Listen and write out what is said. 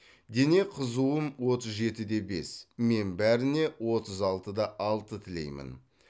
дене қызуым отыз жеті де бес мен бәріне отыз алты да алты тілеймін